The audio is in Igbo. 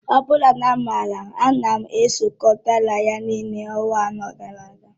Ọ bụrụ na mmara, a nara m ịzukọrọ dọla ya, niile ọnwa anọ gara aga